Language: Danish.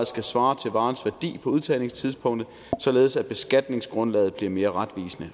skal svare til varens værdi på udtagningstidspunktet således at beskatningsgrundlaget bliver mere retvisende